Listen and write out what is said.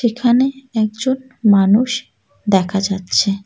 এখানে একজন মানুষ দেখা যাচ্ছে।